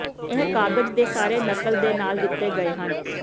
ਇਹ ਕਾਗਜ਼ ਦੇ ਸਾਰੇ ਨਕਲ ਦੇ ਨਾਲ ਦਿੱਤੇ ਗਏ ਹਨ